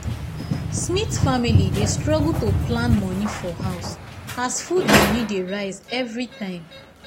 smith family dey struggle to plan money for house as food money dey rise every time